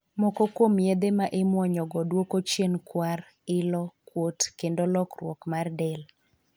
Moko kuom yedhe ma imuonyo go duoko chien kwar, ilo ,kuot kendo lokruok mar del.